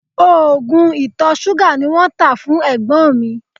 Oògùn ìtọ̀ ṣúgà ni wọ́n tá fún ẹ̀gbọ́n mi